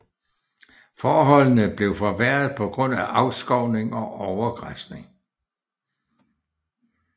Forholdene blev forværret på grund af afskovning og overgræsning